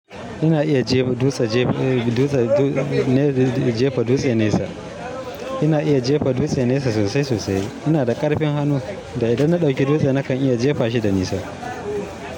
Ina iya jefa dutse ne jefa dutse nesa. Ina iya jefa dutse nesa sosai sosai. Ina da ƙarfin hannu, da idan na ɗauki dutse nakan iya jefa shi da nisa.